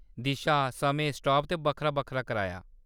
दिशा, समें, स्टाप ते बक्खरा-बक्खरा कराया।